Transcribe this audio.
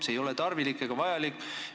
See ei ole tarvilik ega vajalik.